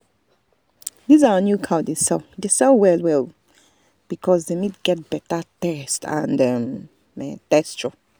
this our new cow dey sell dey sell well um because the meat get better taste and um texture.